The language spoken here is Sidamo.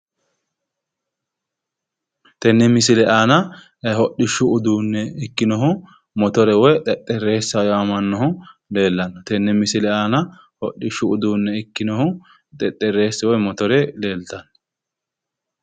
Tenne misile aana hodhishshu uduunne ikkinohu motore woy xexxerreesi yaamamannohu tenne misile aanaa hodhishshu uduunne ikkinohu xexxerrisi woy motoree leeltanno